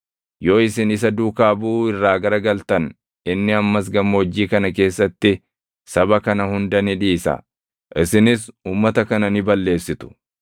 Yoo isin isa duukaa buʼuu irraa garagaltan inni ammas gammoojjii kana keessatti saba kana hunda ni dhiisa; isinis uummata kana ni balleessitu.”